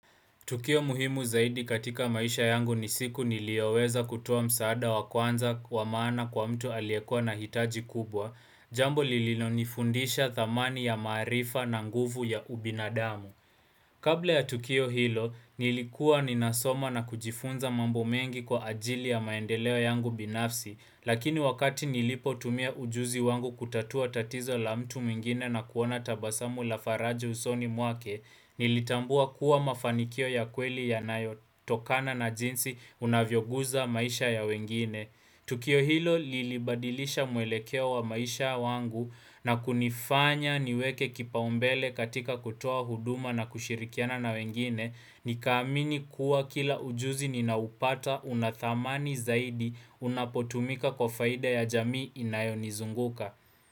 Tukio muhimu zaidi katika maisha yangu ni siku nilioweza kutoa msaada wa kwanza wa maana kwa mtu aliyekua na hitaji kubwa, jambo lililo nifundisha thamani ya maarifa na nguvu ya ubinadamu. Kabla ya Tukio Hilo, nilikua ninasoma na kujifunza mambo mengi kwa ajili ya maendeleo yangu binafsi, lakini wakati nilipo tumia ujuzi wangu kutatua tatizo la mtu mwingine na kuona tabasamu la faraja usoni mwake, nilitambua kuwa mafanikio ya kweli yanayotokana na jinsi unavyoguza maisha ya wengine. Tukio hilo lilibadilisha mwelekeo wa maisha wangu na kunifanya niweke kipaumbele katika kutoa huduma na kushirikiana na wengine. Nikaamini kuwa kila ujuzi ninaupata una thamani zaidi unapotumika kwa faida ya jamii inayonizunguka.